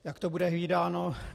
Jak to bude hlídáno?